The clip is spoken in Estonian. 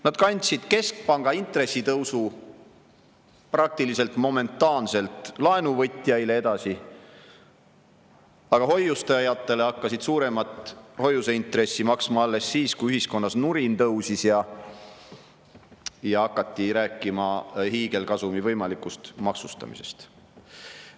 Nad kandsid keskpanga intressitõusu praktiliselt momentaanselt laenuvõtjaile edasi, aga hoiustajatele hakkasid suuremat hoiuseintressi maksma alles siis, kui ühiskonnas nurin tõusis ja hakati rääkima hiigelkasumi võimalikust maksustamisest.